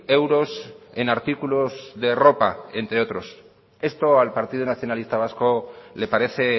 euros en artículos de ropa entre otros esto al partido nacionalista vasco le parece